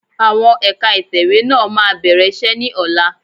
Àwọn ẹ̀ka ìtẹ̀wẹ́ náà máa bẹ̀rẹ̀ iṣẹ́ ni ọ̀la